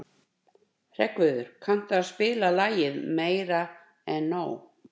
Hreggviður, kanntu að spila lagið „Meira En Nóg“?